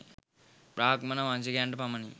බ්‍රාහ්මණ වංශිකයන්ට පමණි.